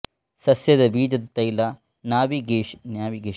ಸಸ್ಯದ ಬೀಜದತೈಲ ನ್ಯಾವಿಗೇಷನಲ್ ಮೆಮೊರಿಕಾರ್ಯಕ್ಷಮತೆಯಿಂದ ಸ್ಕೋಪೆಲಮೈನ್ ಪ್ರೇರಿತ ಕೊರತೆಗಳನ್ನು ಹಿಮ್ಮೆಟ್ಟಿಸಿತು